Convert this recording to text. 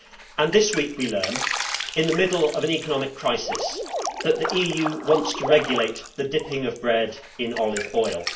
And this week we learn, in the middle of an economic crisis, that the EU wants to regulate the dipping of bread in olive oil.